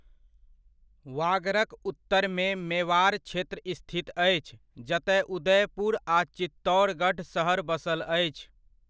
वागड़क उत्तरमे, मेवाड़ क्षेत्र स्थित अछि, जतय उदयपुर आ चित्तौड़गढ़ सहर बसल अछि।